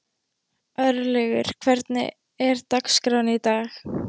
Örlaugur, hvernig er dagskráin í dag?